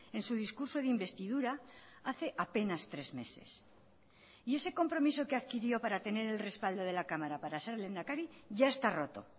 en su discurso de investidura hace apenas tres meses y ese compromiso que adquirió para tener el respaldo de la cámara para ser lehendakari ya está roto